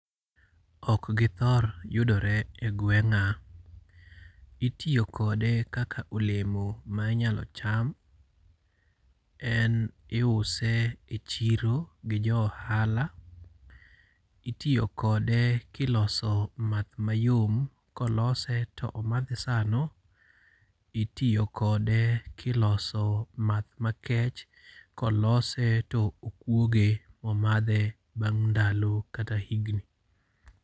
Ok githor yudore e gweng'a. Itiyo kode kaka olemo ma inyalo cham. En iuse e chiro gi jo ohala. Itiyo kode kiloso math mayom, kolose to omadhe sano. Itiyo kode kiloso math makech, kolose to okwoge momadhe bang' ndalo kata higni.